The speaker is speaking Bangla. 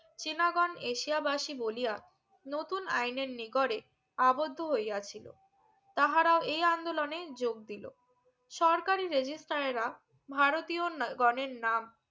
চীনা গন এশিয়া বসি বলিয়া নতুন আইনের নিকরে আবদ্ধ হইয়া ছিলো তাহারা এই আন্দলনে যোগ দিলো সরকারি রেজিস্থায়েরা এ ভারতীয় গনের নাম